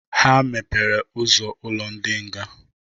Ha mepere ụzọ ụlọ ndị nga.